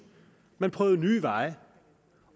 man prøvede nye veje